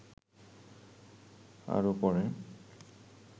আরো পরে